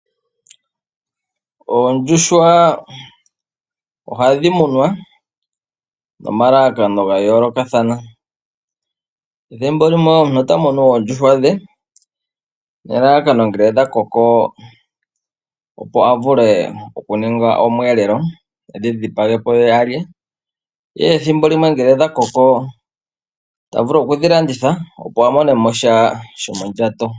Oondjuhwa ohadhi munwa nomalalakano gayoolokathana . Ethimbo omuntu ota munu oondjuhwa dhe nelalakano ngele dhakoko opo avule okuninga omweelelo , edhi dhipage po alye. Dho ethimbo limwe ngele dhakoko ota vulu okudhilanditha opo amonemo sha shomondjato.